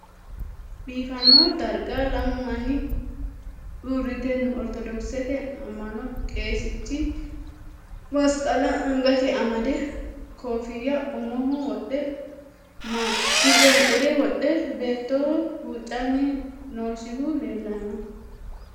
Biifano darigga lamu manni uuritte noo. oritodokisette ama'nno qeesichchi masiqqala anigate amade koffiya ummoho wodhe maxanixirre wodhe beettoho huucanni noosihu leelanno